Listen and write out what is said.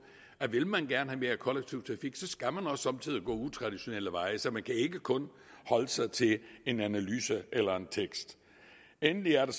at vil man gerne have mere kollektiv trafik skal man også somme tider gå utraditionelle veje så man kan ikke kun holde sig til en analyse eller en tekst endelig er der